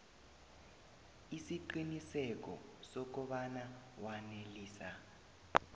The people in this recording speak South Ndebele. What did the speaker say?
isiqiniseko sokobana wanelisa